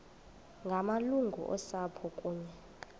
ngamalungu osapho kunye